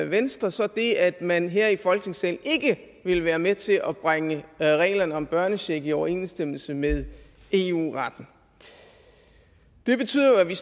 venstre så det at man her i folketingssalen ikke ville være med til at bringe reglerne om børnecheck i overensstemmelse med eu retten det betyder jo at vi